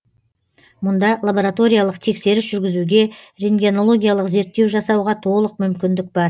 мұнда лабораториялық тексеріс жүргізуге рентгенологиялық зерттеу жасауға толық мүмкіндік бар